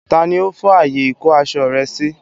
Tani ó fọ́ ààyè ìkó-aṣọ sí rẹ?